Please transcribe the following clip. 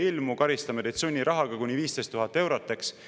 Kui ei ilmu, karistame teid sunnirahaga kuni 15 000 eurot!